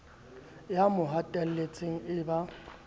ya mo hatelletseng e ba